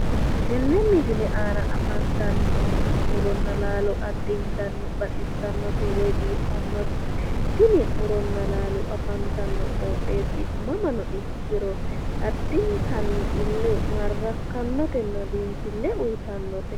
Tenne misile aana afntanni nooti muronna laalo addintanni baxissannote woy biiffannote tini muronna laalo afantanno qoxeessi mamano ikkiro addintanni ille maarrakkannotenna biinfille uyiitannote.